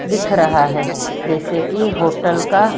दिख रहा है जैसे कि होटल का--